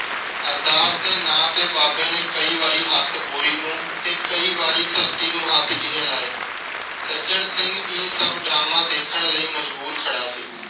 ਅਰਦਾਸ ਦੇ ਨਾਂ ਤੇ ਬਾਬੇ ਨੇ ਕਈ ਵਾਰੀ ਹੱਥ ਬੋਰੀ ਨੂੰ ਤੇ ਕਈ ਵਾਰੀ ਧਰਤੀ ਨੂੰ ਹੱਥ ਜਿਹੇ ਲਾਏ। ਸੱਜਣ ਸਿੰਘ ਇਹ ਸਭ ਡਰਾਮਾ ਦੇਖਣ ਲਈ ਮਜਬੂਰ ਖੜਾ ਸੀ।